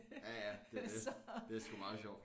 Ja ja det er det det sgu meget sjovt